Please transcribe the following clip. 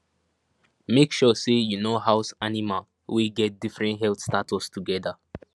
make sure say you no house animals wey get different health status together